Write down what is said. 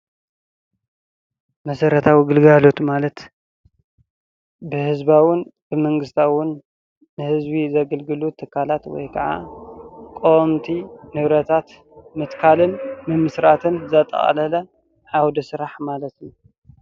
መሰረታዊ ግልጋሎት ማለት በህዝባዉን ብመንግስታዉን ንህዝቢ ዘገልግሉ ትካላት ወይ ከዓ ቀወምቲ ንብረታት ምትካልን ምምስራትን ዘጠቃለለ ዓውደ ስራሕ ማለት እዩ::